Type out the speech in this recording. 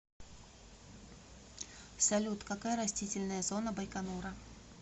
салют какая растительная зона байконура